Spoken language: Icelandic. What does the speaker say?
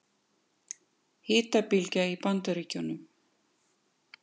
Hitabylgja í Bandaríkjunum